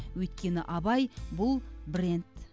өйткені абай бұл бренд